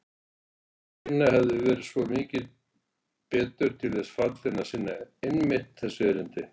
Einhver hinna hefði verið svo mikið betur til þess fallinn að sinna einmitt þessu erindi.